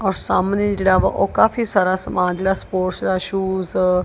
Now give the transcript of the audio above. ਔਰ ਸਾਹਮਣੇ ਜਿਹੜਾ ਵਾ ਉਹ ਕਾਫੀ ਸਾਰਾ ਸਮਾਨ ਜਿਹੜਾ ਸਪੋਰਟਸ ਦਾ ਸ਼ੂਜ --